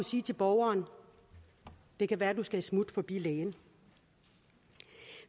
sige til borgeren det kan være du skal et smut forbi lægen